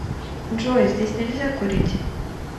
джой здесь нельзя курить